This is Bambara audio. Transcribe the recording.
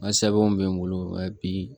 N ka sɛbɛnw be n bolo nka bi